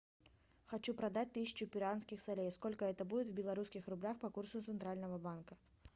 хочу продать тысячу перуанских солей сколько это будет в белорусских рублях по курсу центрального банка